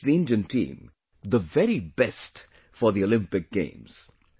I wish the Indian team the very best for the Olympic Games